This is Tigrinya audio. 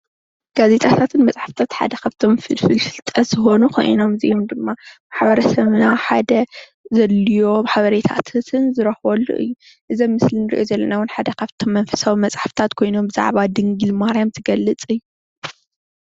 ጋዜጣታትን መፅሓፍቲታትን ሓደ ካብቶም ፍልፍል ፍልጠት ዝኮኑ ኮይኖም እዚኦ ድማ ማሕበረሰብና ሓደ ዘድልዮም ሓበሬታታትን ዝርከበሉ እዩ። እዚ አብ ምስሊ እንሪኦ ዘለና እውን ሓደ ካብቶም መንፈሳዊ መፅሓፍትታት ኮይኖም ብዛዕባ ድንግል ማርያም ዝገልፅ እዩ።